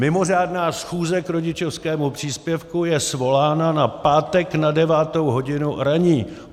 Mimořádná schůze k rodičovskému příspěvku je svolána na pátek na devátou hodinu ranní.